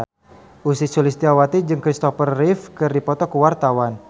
Ussy Sulistyawati jeung Christopher Reeve keur dipoto ku wartawan